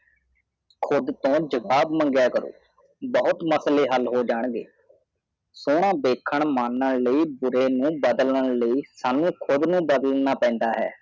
ਖੁਦ ਤੋਂ ਜਬਾਬ ਮੰਗਾ ਕਰੋ ਬਹੁਤੁ ਸਰੇ ਸਾਵਲ ਹਾਲ ਹੋ ਜਾਏਂਗੇ ਸੋਨਾ ਦੇਖਨ ਮੰਨਨ ਲੀਏ ਬੂਰੇ ਨੂ ਬਦਲਾਨ ਲਾਈਐ ਸ਼ਾਨੁ ਕੂੜ ਨਉ ਬਦਲਨਾ ਪੈਦਾ